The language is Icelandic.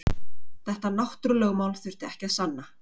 Þetta náttúrulögmál þurfti ekki að sanna.